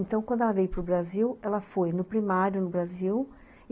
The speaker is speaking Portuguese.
Então, quando ela veio para o Brasil, ela foi no primário no Brasil.